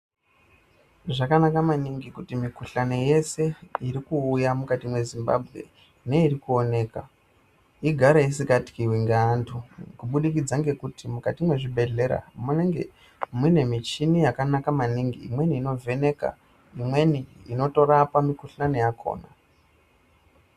Zvakanaka maningi kuti mikhuhlani yese urikuuya mukati mweZimbabwe neirikuonekwa igare isikatyiwi ngeantu kubudikidza ngekuti mukati mwezvibhehlera munenge mune michini yakanaka maningi imweni unovheneka, imweni inotorapa mikhuhlani yakhona.